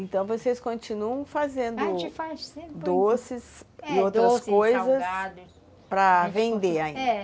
Então vocês continuam fazendo, a gente faz, doces e outras coisas, doces, salgados, para vender ainda? É.